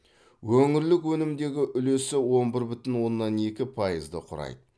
өңірлік өнімдегі үлесі он бір бүтін оннан екі пайызды құрайды